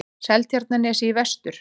Seltjarnarnesi í vestur.